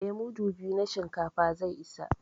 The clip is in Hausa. Eh, mudu biyu na shinkafa zai isa